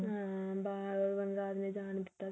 ਹਮ ਬਾਹਰ ਵਨਰਾਜ ਨੇ ਜਾਣ ਨਹੀ ਦਿੱਤਾ ਸੀ